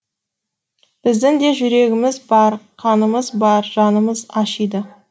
біздің де жүрегіміз бар қанымыз бар жанымыз ашиды